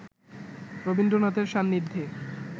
রবীন্দ্রনাথের সান্নিধ্যে